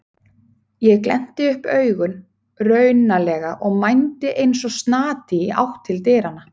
Ég glennti upp augun raunalega og mændi eins og snati í átt til dyranna.